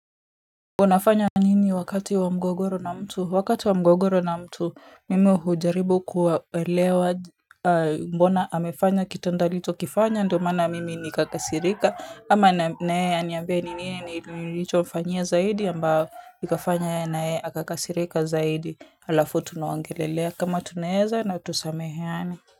Unafanya nini wakati wa mgogoro na mtu, wakati wa mgogoro na mtu mimi hujaribu kuwaelewa mbona amefanya kitendo alichokifanya ndio maana nikakasirika ama na yeye aniambie ni nini nilichomfanyia zaidi ambao ikafanya na yeye akakasirika zaidi alafu tunaongelelea kama tunaweza na tusameheane.